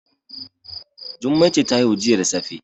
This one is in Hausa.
Jummai ce ta haihu jiya da safe